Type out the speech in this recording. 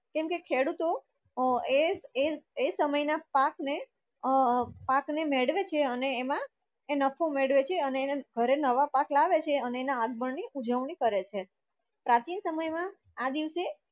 કેમકે ખેડૂતો અ એ એ સમય ના પાક ને અ અ પાક ને મેડવે છે અને એમા એ નફો મેડવે છે અને ઘરે નવા પાક લાવે છે ને આના આગમન ની ઉજવણી કરે છે. પ્રાચીન સમય મા આ દિવસ